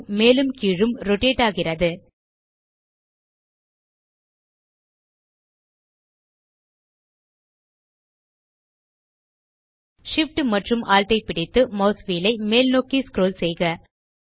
view மேலும் கீழும் rotate ஆகிறது Shift மற்றும் Alt ஐ பிடித்து மாஸ் வீல் ஐ மேல்நோக்கி ஸ்க்ரோல் செய்க